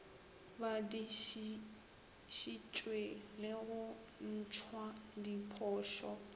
badišišitšwe le go ntšhwa diphošo